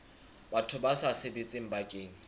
batho ba sa sebetseng bakeng